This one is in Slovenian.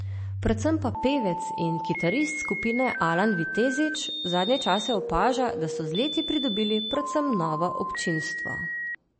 Predvsem pa pevec in kitarist skupine Alan Vitezič zadnje čase opaža, da so z leti pridobili predvsem novo občinstvo.